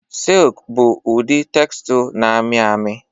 Silk bụ ụdị textle na-amị amị